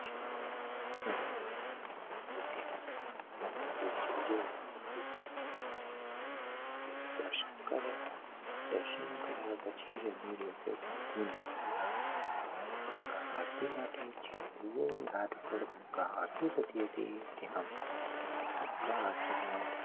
દર્શન કર્યા દર્શન કાર્ય પછી અમે લોકો ત્યાં થી નીકળ્યા ગંગા આરતી હતી જ્યાં ઘાટ પર આરતી થતી હતી ત્યાં અમે ગંગા આરતી ના